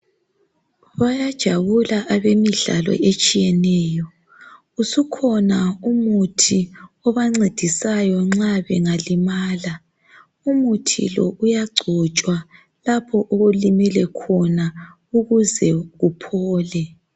Bayajabula abemidlalo etshiyeneyo. Usukhona umuthi obancedisayo nxa bengalimala. Umuthi lo uyagcotshwa lapho olimele khona ukuze kuphole.